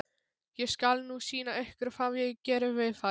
Ég skal nú sýna ykkur hvað ég geri við hana!